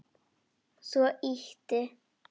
Svo ýtti